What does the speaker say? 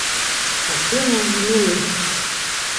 афина милый